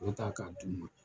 O ta ka d'u ma.